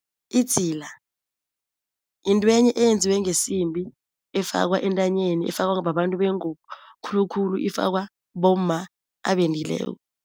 Idzila yintwenye eyenziwe ngesimbi efakwa entanyeni, efakwa babantu bengubo, khulukhulu ifakwa bomma abendileko.